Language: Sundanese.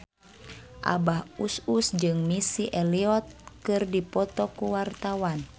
Abah Us Us jeung Missy Elliott keur dipoto ku wartawan